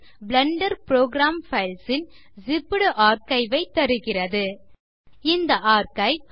Blender program files ன் zipped archive ஐ தருகிறது இந்த ஆர்க்கைவ்